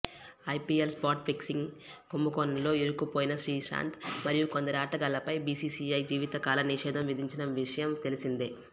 IPL spot fixing కుంభకోణంలో ఇరుక్కుపోయిన శ్రీశాంత్ మరియు కొందరి ఆటగాళ్లపై బీసీసీఐ జీవితకాల నిషేధం విధించిన విషయం తెలిసిందే